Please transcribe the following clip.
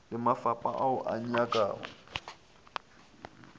le mafapha ao a nyakago